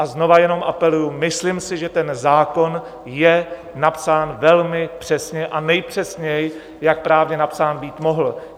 A znova jenom apeluji, myslím si, že ten zákon je napsán velmi přesně a nejpřesněji, jak právně napsán být mohl.